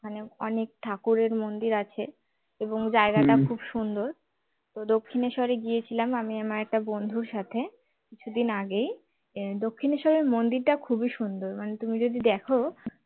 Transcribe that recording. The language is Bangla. মানে অনেক ঠাকুরের মন্দির আছে এবং জায়গাটা খুব সুন্দর তো দক্ষিণেশ্বরে গিয়েছিলাম আমি আমার একটা বন্ধুর সাথে কিছুদিন আগেই দক্ষিণেশ্বরের মন্দিরটা খুবই সুন্দর মানে তুমি যদি দেখো